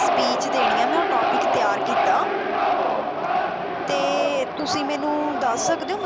speech ਦੇਣੀ ਆ ਮੈਂ ਉਹ topic ਤਿਆਰ ਕੀਤਾ ਤੇ ਤੁਸੀ ਮੈਨੂੰ ਦੱਸ ਸਕਦੇ ਹੋ,